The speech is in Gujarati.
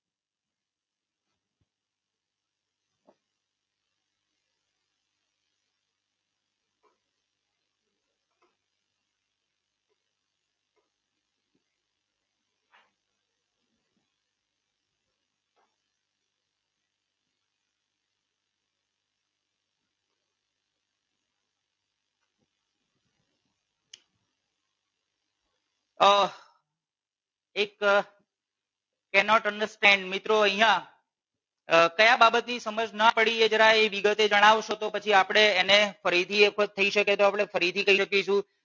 આહ એક can not understand મિત્રો અહિયાં આહ કયા બાબતની સમજ ના પડી એ જરા વિગતે જણાવશો તો પછી આપણે એને ફરી થી એક વખત થઈ શકે તો આપણે ફરી થી કહી શકીશું.